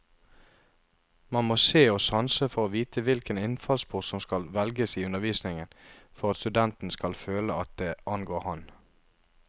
Man må se og sanse for å vite hvilken innfallsport som skal velges i undervisningen for at studenten skal føle at det angår ham.